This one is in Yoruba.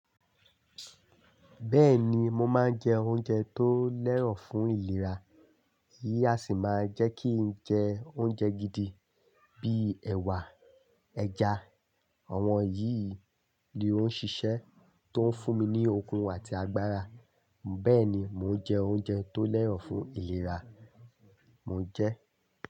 Bẹ́ẹ̀ni, mo máa ń jẹ oúnjẹ tó lẹ́rọ̀ fún ìlera. Èyí á sì máa jẹ́ kí n jẹ oúnjẹ gidi bíi ẹ̀wà, ẹja. Àwọn yìí ni ó ń ṣiṣẹ́ tó ń fún mi ní okun àti agbára. Bẹ́ẹ̀ ni, mò ń jẹ oúnjẹ tó lẹ́rọ̀ fún ìlera mo n jẹ.